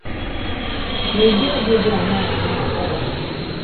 N’ụdị ohu dị aṅaa ka a na - akwaba ha?